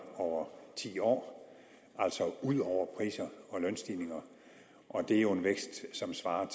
over ti år altså ud over priser og lønstigninger og det er jo en vækst som svarer